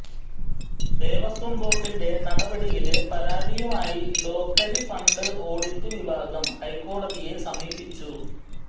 ദേവസ്വം ബോര്ഡിന്റെ നടപടിയില് പരാതിയുമായി ലോക്കല് ഫണ്ട് ഓഡിറ്റ് വിഭാഗം ഹൈക്കോടതിയെ സമീപിച്ചു